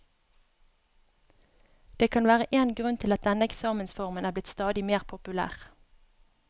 Det kan være én grunn til at denne eksamensformen er blitt stadig mer populær.